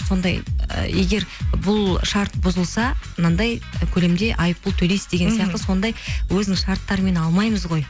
сондай ы егер бұл шарт бұзылса мынандай көлемде айыппұл төлейсіз деген сияқты сондай өзінің шарттарымен алмаймыз ғой